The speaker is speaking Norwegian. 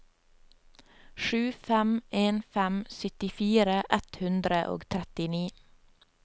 sju fem en fem syttifire ett hundre og trettini